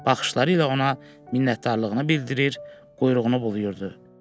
Baxışları ilə ona minnətdarlığını bildirir, quyruğunu bulayırdı.